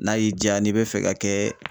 N'a y'i dja n'i bɛ fɛ ka kɛ